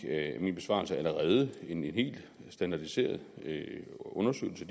af min besvarelse allerede en helt standardiseret undersøgelse